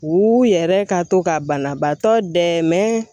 U yɛrɛ ka to ka banabaatɔ dɛmɛ